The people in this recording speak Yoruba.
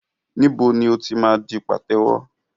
Níbo ni o ti máa di pàtẹ́wọ́?